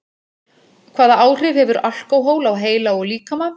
Hvaða áhrif hefur alkóhól á heila og líkama?